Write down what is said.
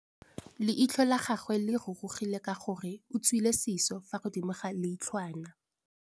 Leitlhô la gagwe le rurugile ka gore o tswile sisô fa godimo ga leitlhwana.